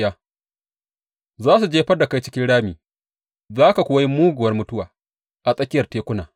Za su jefar da kai cikin rami, za ka kuwa yi muguwar mutuwa a tsakiyar tekuna.